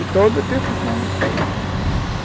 E todo o tempo fui flamenguista.